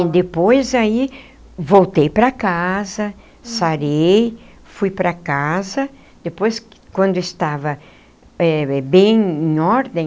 Depois aí voltei para casa, sarei, fui para casa, depois, quando eu estava eh bem, em ordem,